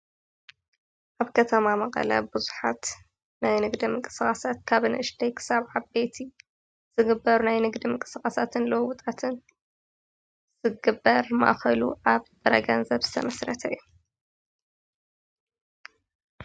ኣብ ከተማ መቐለ ብዙሓት ናይ ንግዲ ምንቅስቃሳት ካብ ንእሽተይ ክሳብ ዓበይቲ ዝግበር ናይ ንግዲ ምንቅስቃሳትን ለውጥታትን ዝግበር ማእኸሉ ኣብ ጥረ ገንዘብ ዝተመስረተ እዩ።